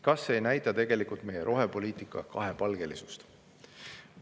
Kas see ei näita tegelikult meie rohepoliitika kahepalgelisust?